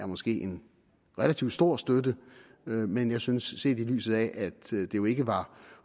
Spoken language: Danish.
måske er en relativt stor støtte men jeg synes set i lyset af at det jo ikke var